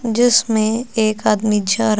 जिसमें एक आदमी जा रहा--